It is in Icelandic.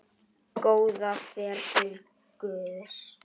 Góða ferð til Guðs.